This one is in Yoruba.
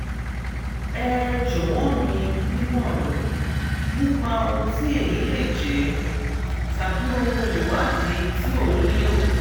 ẹ jọ̀wọ́ mi nímọ̀ràn nípa ohun tí èyí lè jẹ́ tàbí àwọn ìwádìí tí òun nílò